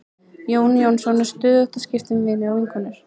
Jón Jónsson er stöðugt að skipta um vini og vinkonur.